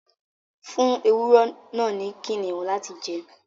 fún ewúrẹ náa fún Kiniun lati jẹ.